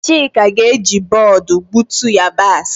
Chika ga-eji bọọdụ gbutu yabasị.